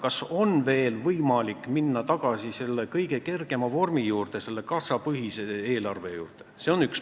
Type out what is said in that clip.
Kas on veel võimalik minna tagasi selle kõige kergema vormi, selle kassapõhise eelarve juurde?